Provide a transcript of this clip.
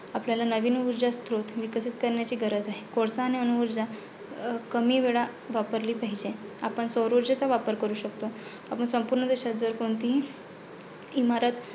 आपल्याला नवीन उर्जा स्त्रोत विकसित करण्याची गरज आहे. कोळसा आणि अणुउर्जा अं कमी वेळा वापरली पाहिजे. आपण सौरुर्जेचा वापर करू शकतो. आपण संपूर्ण देशात जर कोणतीही इमारत